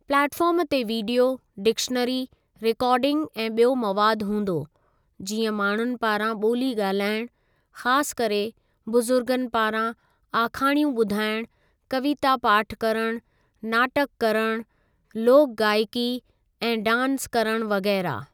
Platform ते video, dictionary, recording ऐं ॿियो मवाद हूंदो, जीअं माण्हुनि पारां ॿोली ॻाल्हाइणु , ख़ासि करे बुजुर्गनि पारां, आखाणियूं ॿुधाइणु, कविता पाठ करणु, नाटक करणु, लोक गायकी ऐं डांस करणु वग़ैरह।